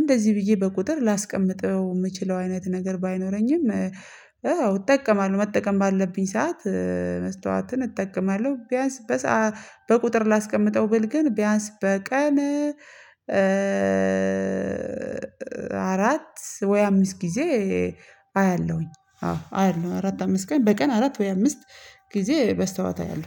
እንደዚህ ብዬ በቁጥር ላስቀምጠው የምችለው አይነት ነገር ባይኖረኝም። አዎ እጠቀማለሁ መጠቀም ባለብኝ ሰዓት መስታወትን እጠቀማለሁ። ቢያንስ በቁጥር ላስቀምጠው ብል ግን ቢያንስ በቀን አራት ወይ አምስት ጊዜ አያለሁኝ። አዎ አያለሁ አራት አምስት ቀን በቀን አራት ወይ አምስት ጊዜ በስተዋት አይደለም